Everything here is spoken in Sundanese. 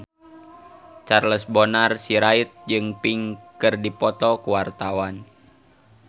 Charles Bonar Sirait jeung Pink keur dipoto ku wartawan